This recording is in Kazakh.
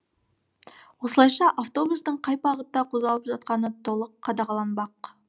осылайша автобустың қай бағытта қозғалып жатқаны толық қадағаланбақ